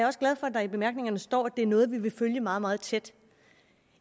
også glad for at der i bemærkningerne står at det er noget vi vil følge meget meget tæt